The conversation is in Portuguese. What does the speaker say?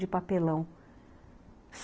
de papelão.